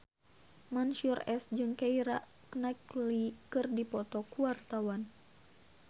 Mansyur S jeung Keira Knightley keur dipoto ku wartawan